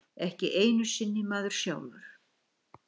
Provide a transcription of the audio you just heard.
Ekki einu sinni maður sjálfur.